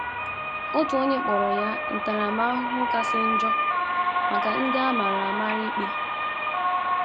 Otu onye kpọrọ ya “ ntaramahụhụ kasị njọ maka ndị a mara a mara ikpe. ”